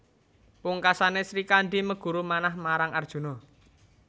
Pungkasané Srikandhi meguru manah marang Arjuna